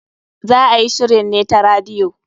Za a yi shirin ne ta radiyo.